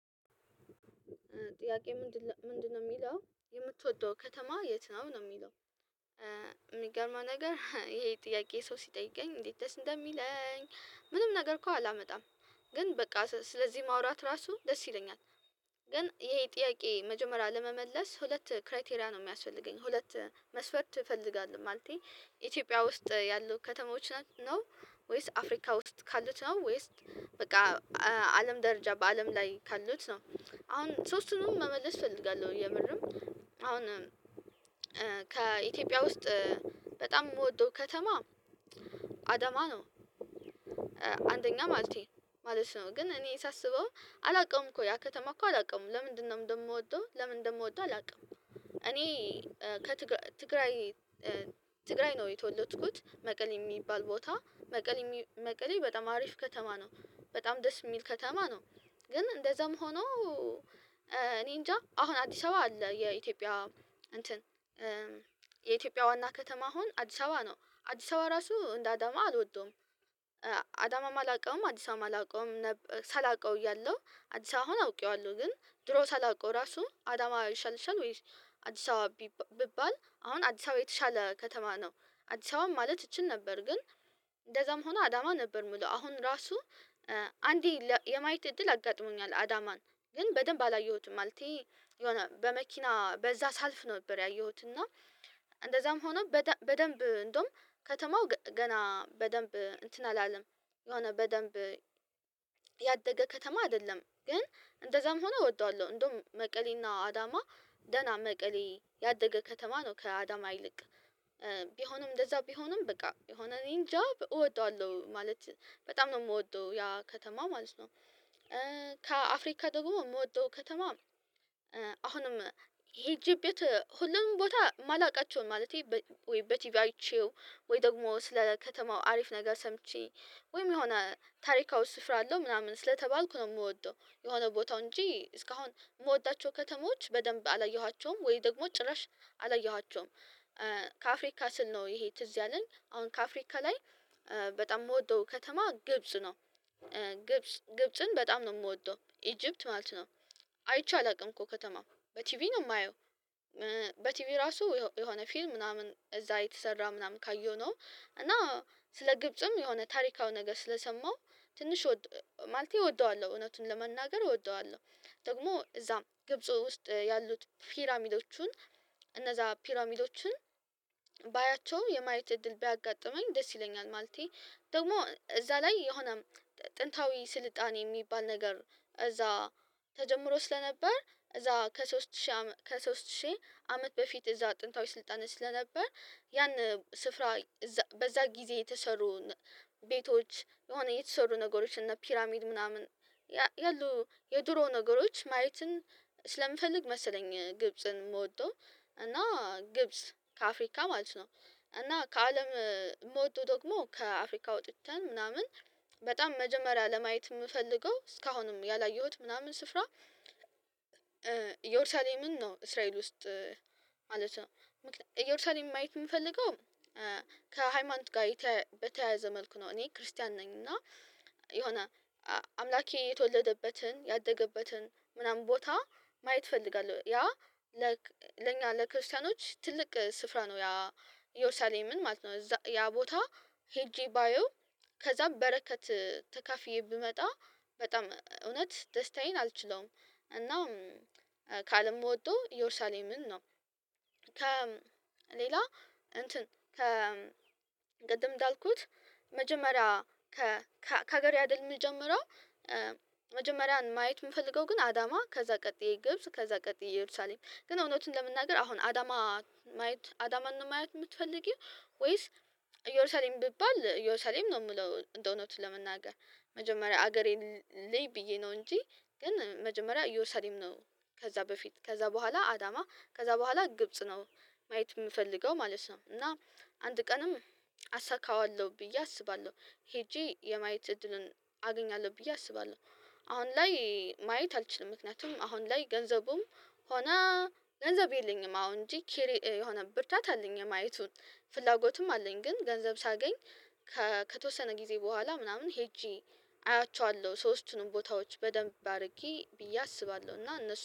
ጥያቄው ምንድነው የሚለው የምትወደው ከተማ የት ነው ነው የሚለው? የሚገርመው ነገር ይሄ ጥያቄ ሰው ሲጠይቀኝ እንዴት እንደሚለኝ ምንም ነገር እኮ አላመጣም ግን በቃ ስለዚህ ማውራት ራሱ ደስ ይለኛል። ግን ይሄ ጥያቄ መጀመሪያ ለመመለስ ሁለት ክራይቴሪያ ነው የሚያስፈልገኝ ሁለት መስፈርት እፈልጋለሁ ማለቴ ኢትዮጵያ ውስጥ ያሉ ከተሞች ናቸው ነው አፍሪካ ውስጥ ካሉት ነው ወይስ በቃ አለም ደረጃ በአለም ላይ ካሉት ነው? አሁን ሶስቱንም መመለስ እፈልጋለሁ የምርም አሁን ከኢትዮጵያ ውስጥ በጣም የምወደው ከተማ አደማ ነው። አንደኛ ማለቴ ማለት ነው ግን እኔ ሳስበው አላውቅም እኮ ያ ከተማ እኮ አላውቅም ለምንድነው እንደምወደው ለምን እንደምወደው አላውቅም። እኔ ከትግራይ ትግራይ ነው የተወለድኩት መቀሌ የሚባል ቦታ መቀሌ መቀሌ በጣም አሪፍ ከተማ ነው። በጣም ደስ የሚል ከተማ ነው። ግን እንደዛም ሆኖ እኔ እንጃ አሁን አዲስ አበባ አለ የኢትዮጵያ እንትን የኢትዮጵያ ዋና ከተማ አሁን አዲስ አበባ ነው አዲስ አበባ ራሱ እንደ አዳማ አልወደውም። አዳማ አላውቀውም አዲስ አበባ አላውቀውም ሳላውቀው እያለሁ አዲስ አበባ አሁን አውቄዋለሁ ግን ድሮ ሳላውቀው ራሱ አዳማ ይሻልሻል ወይስ አዲስ አበባ ብባል አሁን አዲስ አበባ የተሻለ ከተማ ነው። አዲስ አበባ ማለት እችል ነበር ግን እንደዛም ሆኖ አዳማ ነበር የምለው አሁን ራሱ አንዴ የማየት እድል አጋጥሞኛል አዳማን ግን በደንብ አላየሁትም ማለቴ የሆነ በመኪና በዛ ሳልፍ ነበር ያየሁት እና እንደዛም ሆኖ በደንብ እንደውም ከተማው ገና በደንብ እንትን አላለም። የሆነ በደንብ ያደገ ከተማ አይደለም ግን እንደዛም ሆኖ እወደዋለሁ። እንደውም መቀሌና አዳማ ደህና መቀሌ ያደገ ከተማ ነው ከአዳማ ይልቅ ቢሆንም እንደዛ ቢሆንም በቃ የሆነ እኔን ጃ እወደዋለሁ ማለት በጣም ነው የምወደው ያ ከተማ ማለት ነው። ከአፍሪካ ደግሞ የምወደው ከተማ አሁንም ሄጄበት ሁሉንም ቦታ የማላውቃቸውን ማለቴ ወይ በቲቪ አይቼው ወይ ደግሞ ስለ ከተማው አሪፍ ነገር ሰምቼ ወይም የሆነ ታሪካዊ ስፍራ አለው ምናምን ስለተባልኩ ነው የምወደው የሆነ ቦታው እንጂ እስካሁን የምወዳቸው ከተሞች በደንብ አላየኋቸውም ወይ ደግሞ ጭራሽ አላየኋቸውም። ከአፍሪካ ስል ነው ይሄ ትዝ ያለን አሁን ከአፍሪካ ላይ በጣም የምወደው ከተማ ግብጽ ነው። ግብጽን በጣም ነው የምወደው ኢጅፕት ማለት ነው። አይቼ አላውቅም እኮ ከተማ በቲቪ ነው የማየው በቲቪ ራሱ የሆነ ፊልም ምናምን እዛ የተሰራ ምናምን ካየሁ ነው። እና ስለ ግብጽም የሆነ ታሪካዊ ነገር ስለሰማሁ ትንሽ ማለቴ እወደዋለሁ እውነቱን ለመናገር እወደዋለሁ። ደግሞ እዛም ግብጽ ውስጥ ያሉት ፒራሚሎቹን እነዛ ፒራሚዶቹን ባያቸው የማየት እድል ቢያጋጥመኝ ደስ ይለኛል ማለቴ ደግሞ እዛ ላይ የሆነ ጥንታዊ ስልጣኔ የሚባል ነገር እዛ ተጀምሮ ስለነበር እዛ ከሶስት ሺህ ከሶስት ሺህ አመት በፊት እዛ ጥንታዊ ስልጣን ስለነበር ያን ስፍራ በዛ ጊዜ የተሰሩን ቤቶች የሆነ የተሰሩ ነገሮች እና ፒራሚድ ምናምን ያሉ የድሮ ነገሮች ማየትን ስለምፈልግ መሰለኝ ግብጽን ምወደው እና ግብጽ ከአፍሪካ ማለት ነው። እና ከአለም ምውደው ደግሞ ከአፍሪካ ወጥተን ምናምን በጣም መጀመሪያ ለማየት የምፈልገው እስካሁንም ያላየሁት ምናምን ስፍራ። ኢየሩሳሌምን ነው እስራኤል ውስጥ ማለት ነው። ኢየሩሳሌም ማየት የምፈልገው ከሃይማኖት ጋር በተያያዘ መልኩ ነው። እኔ ክርስቲያን ነኝ እና የሆነ አምላኬ የተወለደበትን ያደገበትን ምናምን ቦታ ማየት እፈልጋለሁ ያ ለኛ ለክርስቲያኖች ትልቅ ስፍራ ነው ያ ኢየሩሳሌምን ማለት ነው ያ ቦታ ሄጄ ባየው ከዛም በረከት ተካፊዬ ብመጣ በጣም እውነት ደስታዬን አልችለውም። እና ከአለም ምወደው ኢየሩሳሌምን ነው። ከሌላ እንትን ከ ቅድም እንዳልኩት መጀመሪያ ከሀገሬ አይደል የምጀምረው መጀመሪያን ማየት የምፈልገው ግን አዳማ ከዛ ቀጥዬ ግብጽ ከዛ ቀጥዬ ኢየሩሳሌም ግን እውነቱን ለመናገር አሁን አዳማ ማየት አዳማን ማየት የምትፈልጊው? ወይስ ኢየሩሳሌም ቢባል ኢየሩሳሌም ነው። የምለው እንደው እውነቱ ለመናገር መጀመሪያ ሀገሬን ልይ ብዬ ነው እንጂ ግን መጀመሪያ እየሩሳሌም ነው። ከዛ በፊት ከዛ በኋላ አዳማ ከዛ በኋላ ግብጽ ነው። ማየት የምፈልገው ማለት ነው እና አንድ ቀንም አሳካዋለሁ ብዬ አስባለሁ። ሄጄ የማየት እድልን አገኛለሁ ብዬ አስባለሁ። አሁን ላይ ማየት አልችልም ምክንያቱም አሁን ላይ ገንዘቡም ሆና ገንዘብ የለኝም። አሁን እንጂ የሆነ ብርታት አለኝ የማየቱን ፍላጎትም አለኝ። ግን ገንዘብ ሳገኝ ከተወሰነ ጊዜ በኋላ ምናምን ሄጄ አያቸዋለሁ ሶስቱንም ቦታዎች በደንብ አድርጌ ብዬ አስባለሁ። እና እነሱ